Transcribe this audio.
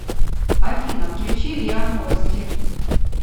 афина включи риа новости